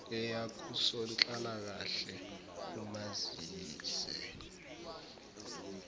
eya kusonhlalakahle umazise